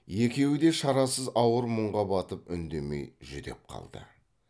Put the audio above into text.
екеуі де шарасыз ауыр мұңға батып үндемей жүдеп қалды